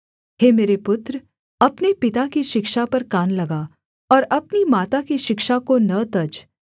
हे मेरे पुत्र अपने पिता की शिक्षा पर कान लगा और अपनी माता की शिक्षा को न तज